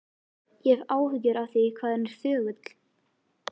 Ég hef áhyggjur af því hvað hann er þögull.